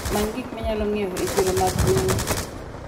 Many gik minyalo ng'iewo e chiro mag gweng'u.